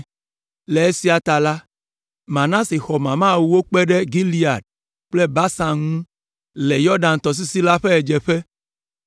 Le esia ta la, Manase xɔ mama ewo kpe ɖe Gilead kple Basan ŋu le Yɔdan tɔsisi la ƒe ɣedzeƒe